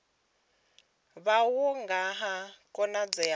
wavho nga ha khonadzeo ya